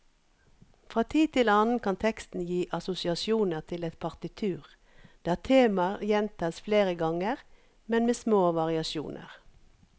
Fra tid til annen kan teksten gi assosiasjoner til et partitur der temaer gjentas flere ganger, men med små variasjoner.